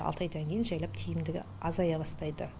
алты айдан кейін жайлап тиімдігі азая бастайды